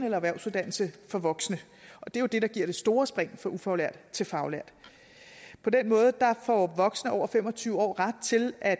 eller erhvervsuddannelse for voksne og det er jo det der giver det store spring fra ufaglært til faglært på den måde får voksne over fem og tyve år ret til at